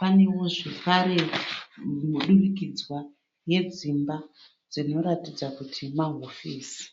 Panewo zvekare mudurikidzwa yedzimba dzinoratidza kuti mahofisi.